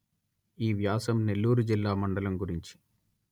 ఈ వ్యాసం నెల్లూరు జిల్లా మండలం గురించి